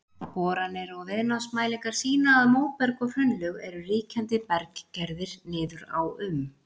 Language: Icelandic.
Boranir og viðnámsmælingar sýna að móberg og hraunlög eru ríkjandi berggerðir niður á um